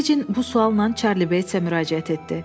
Fecin bu sualla Çarli Betsə müraciət etdi.